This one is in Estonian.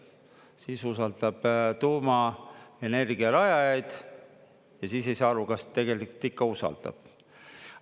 Siis usaldab tuumaenergiarajajaid ja siis ei saa aru, kas tegelikult ikka usaldab.